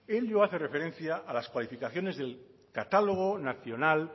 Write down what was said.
ello hace referencia a las cualificaciones del catálogo nacional